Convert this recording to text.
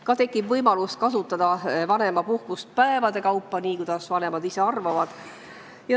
Ka tekib võimalus kasutada vanemapuhkust päevade kaupa, nii, kuidas vanemad ise heaks arvavad.